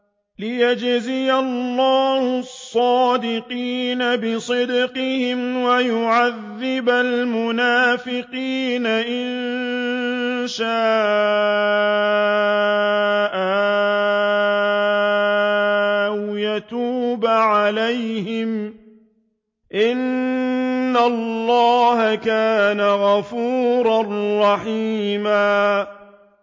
لِّيَجْزِيَ اللَّهُ الصَّادِقِينَ بِصِدْقِهِمْ وَيُعَذِّبَ الْمُنَافِقِينَ إِن شَاءَ أَوْ يَتُوبَ عَلَيْهِمْ ۚ إِنَّ اللَّهَ كَانَ غَفُورًا رَّحِيمًا